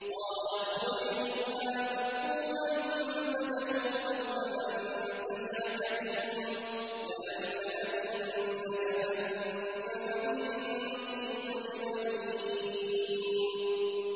قَالَ اخْرُجْ مِنْهَا مَذْءُومًا مَّدْحُورًا ۖ لَّمَن تَبِعَكَ مِنْهُمْ لَأَمْلَأَنَّ جَهَنَّمَ مِنكُمْ أَجْمَعِينَ